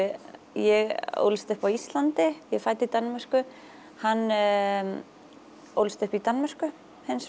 ég ólst upp á Íslandi ég er fædd í Danmörku hann ólst upp í Danmörku hins